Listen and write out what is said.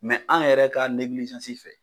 an yɛrɛ ka fɛ.